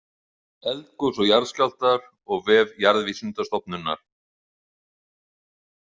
Eldgos og jarðskjálftar og vef Jarðvísindastofnunar.